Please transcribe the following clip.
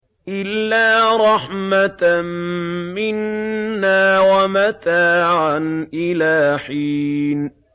إِلَّا رَحْمَةً مِّنَّا وَمَتَاعًا إِلَىٰ حِينٍ